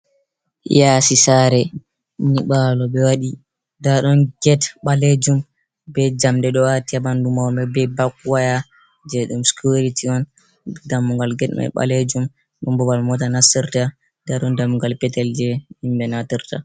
Yaasi saare, nyiɓaalo ɓe waɗi ndaa ɗon Get ɓaleejum bee jamɗe ɗo aati banndu may bee bak-waya jey ɗum security on, dammugal Get mai ɓaleejum babal moota nastirta ndaa ɗon dammugal petel jey himɓe nastirta